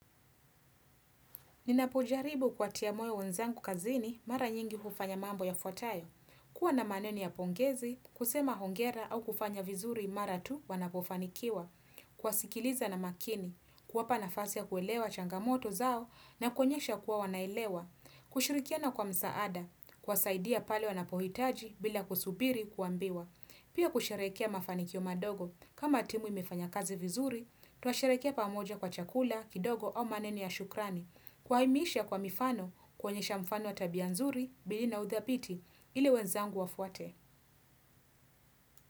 Ninapojaribu kuwatia moyo wenzangu kazini mara nyingi hufanya mambo yafuatayo. Kuwa na maneni ya pongezi, kusema hongera au kufanya vizuri mara tu wanapofanikiwa. Kuwasikiliza na makini, kuwapa nafasi ya kuelewa changamoto zao na kuonyesha kuwa wanaelewa. Kushirikiana kwa msaada, kuwasaidia pale wanapohitaji bila kusubiri kuambiwa. Pia kusherekea mafanikio madogo, kama timu imefanya kazi vizuri, twasherekea pamoja kwa chakula, kidogo au maneni ya shukrani. Kuwahimiisha kwa mifano kuonyesha mfano ya tabia nzuri, bili na udhabiti, ili wenzangu wafuate.